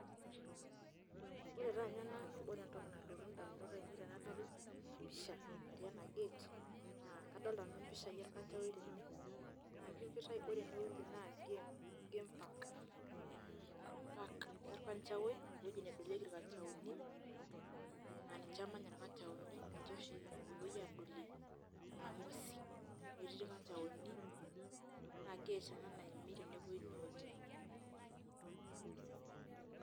Ore taa nye nanu ore entoki nalotu ndamunot ainei enadol ena pisha nati ena gate naa kadolta nanu mpishai orkanjaoi tene naajo kitai kore ene wueji naa game, game park mm park orkanjaowi ewoji nedolieki irkanjaoni naa ninje emanya irkanjaoni, nje oshi epuoi adolie nena ng'uesi. Amu eti irkanjaoni naa gate ena naimi enepuoi ine wueji.